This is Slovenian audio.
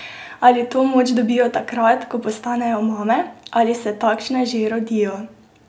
Ali to moč dobijo takrat, ko postanejo mame, ali se takšne že rodijo?